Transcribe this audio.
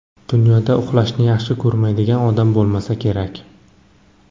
Dunyoda uxlashni yaxshi ko‘rmaydigan odam bo‘lmasa kerak.